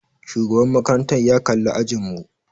Shugaban makarantar ya kalli ajin mu.